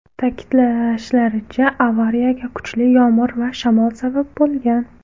Ta’kidlashlaricha, avariyaga kuchli yomg‘ir va shamol sabab bo‘lgan.